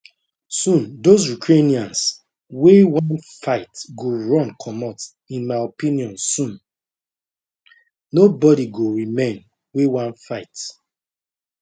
soon dose ukrainians wey wan fight go run comot in my opinion soon nobodi go remain wey wan fight